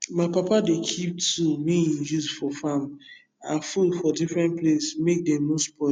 my papa dey keep tool wey he use for farm and food for different place make dem no spoil